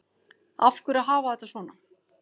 Af hverju að hafa þetta svona